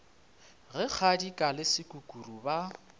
ge kgadika le sekukuru ba